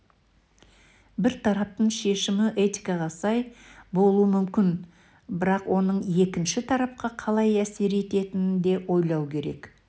бір тараптың шешімі этикаға сай болуы мүмкін бірақ оның екінші тарапқа қалай әсер ететінін де ойлау керек